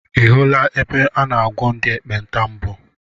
I hụla ebe a na-agwọ ndị ekpenta mbụ?